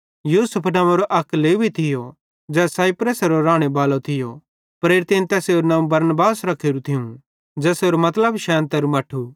यूसुफ नंव्वेरो अक लेवी थियो ज़ै साइप्रसेरो रानेबालो थियो ते प्रेरितेईं तैसेरू नवं बरनबास रखेरू थियूं ज़ेसेरो मतलबे शैनतरु मट्ठू